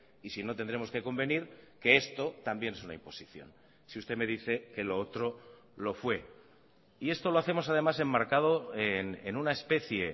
y si no tendremos que convenir que esto también es una imposición si usted me dice que lo otro lo fue y esto lo hacemos además enmarcado en una especie